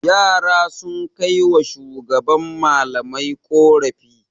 Yara sun kai wa shugaban malamai ƙorafi.